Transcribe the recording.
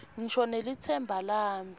ngisho nelitsemba lami